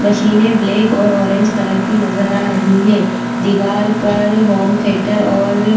मशीनें ब्लेक और orange colour की नजर आ रही हैं दिवार पर होम थिएटर और --